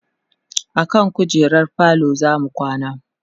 akan kujerar falo zamu kwana